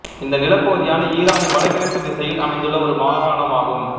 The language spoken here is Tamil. இந்த நிலப்பகுதியானது ஈரானின் வடகிழக்குத் திசையில் அமைந்துள்ள ஒரு மாகாணம் ஆகும்